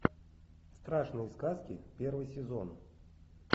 страшные сказки первый сезон